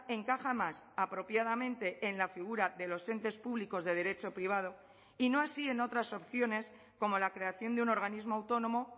encaja más apropiadamente en la figura de los entes públicos de derecho privado y no así en otras opciones como la creación de un organismo autónomo